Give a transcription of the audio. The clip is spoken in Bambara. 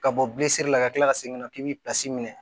Ka bɔ la ka tila ka segin ka na k'i b'i minɛ